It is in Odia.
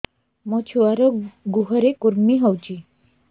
ମୋ ଛୁଆର୍ ଗୁହରେ କୁର୍ମି ହଉଚି